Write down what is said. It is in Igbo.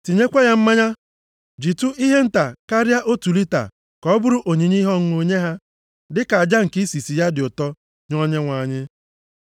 tinyekwa ya mmanya jitụ ihe nta karịa otu lita ka ọ bụrụ onyinye ihe ọṅụṅụ nye ha, dịka aja nke isisi ya dị ụtọ nye Onyenwe anyị.